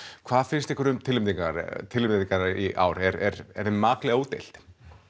hvað finnst ykkur um tilnefningarnar tilnefningarnar í ár er er þeim maklega útdeilt